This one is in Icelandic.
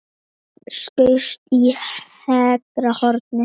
Skaut í hægra hornið.